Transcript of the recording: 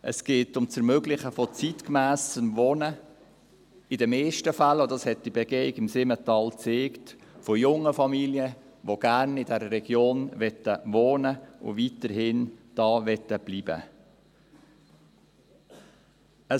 Es geht um das Ermöglichen zeitgemässen Wohnens – in den meisten Fällen – dies hat die Begehung im Simmental gezeigt – von jungen Familien, die gerne in dieser Region wohnen und weiterhin dort bleiben möchten.